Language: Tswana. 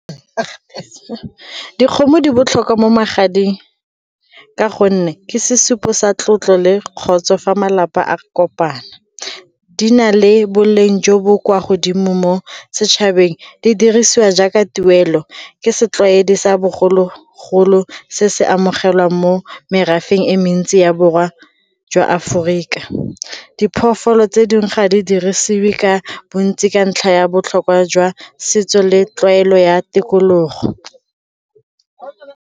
Dikgomo di botlhokwa mo magading ka gonne ke sesupo sa tlotlo le kgotsa fa malapa a kopana. Di na le boleng jo bo kwa godimo mo setšhabeng, di dirisiwa jaaka tuelo, ke setlwaedi sa bogolo golo se se amogelwang mo merafeng e mentsi ya borweng jwa Aforika. Diphologolo tse dingwe ga di dirisiwe ka bontsi ka ntlha ya botlhokwa jwa setso le tlwaelo ya tikologo.